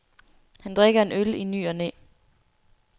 Han drikker en øl i ny og næ.